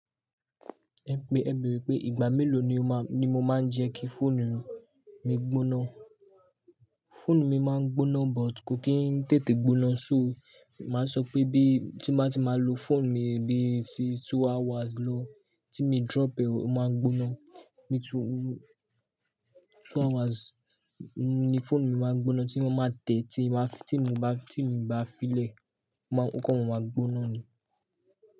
Ẹ pe, ẹ bère pé ìgbà mélòó ni ó ma, ni mo máa ń jẹ kí fóònù mi gbóná. Fóònù mi máa ń gbóná but kò kí ń tètè gbóná so máa sọ pé bí tí má tí má lo fóònù mi bí i sí two hours lo, tí mi drop e, o máa gbóná. Mí tí wu two hours ni fóònù mi máa gbóná tí wọ́n máa tẹ́, tí máa tí mo bá, tí mo bá fi lẹ̀, ma kó máa gbóná ni.